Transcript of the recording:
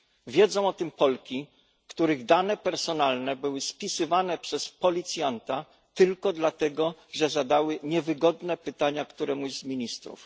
Wiedzą o tym Polki, których dane personalne były spisywane przez policjanta tylko dlatego, że zadały niewygodne pytania któremuś z ministrów.